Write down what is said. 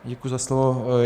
Děkuji za slovo.